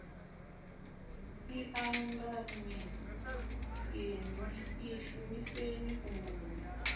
ḽiṱanganyi inwi ḽi shumiseni fhungoni